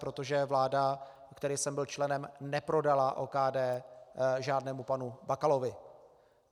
Protože vláda, které jsem byl členem, neprodala OKD žádnému panu Bakalovi.